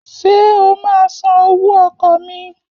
Ṣé o máa san owó ọkọ̀ mi?